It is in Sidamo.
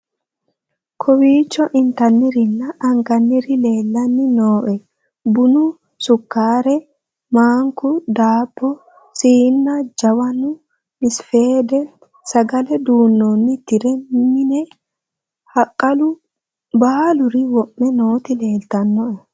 kowiicho intannirinna anganniri leellanni nooe bunu sukkare maanku daabbo siinna jawanu msafeede sagale duunnoonni tire mine haqalu baaluri wo'me nooti leltannoe